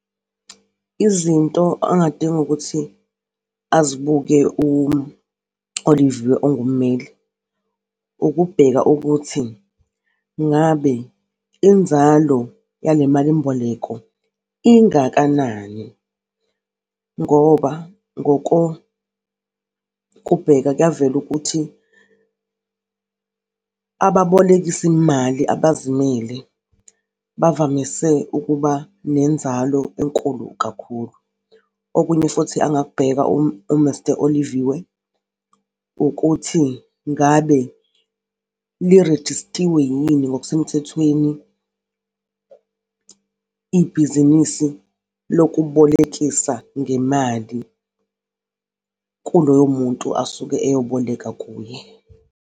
Izinto angadinga ukuthi azibuke u-Oliviwe, ongummeli, ukubheka ukuthi ngabe inzalo yale malimboleko ingakanani ngoba kuya vela ukuthi ababolekisimali abazimele bavamise ukuba nenzalo enkulu kakhulu. Okunye futhi angakubheka u-Mr Oliviwe ukuthi ngabe lirejistiwe yini ngokusemthethweni ibhizinisi lokubolekisa ngemali kuloyo muntu asuke eyoboleka kuye.